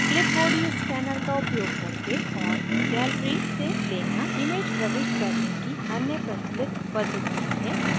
clipboard या scanner का उपयोग करके और gallery gallery से लेना images प्रविष्ट करने की अन्य प्रचलित पद्धतियाँ हैं